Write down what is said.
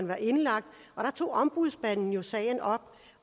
var indlagt og der tog ombudsmanden sagen op